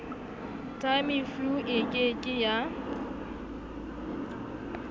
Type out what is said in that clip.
tamiflu e ke ke ya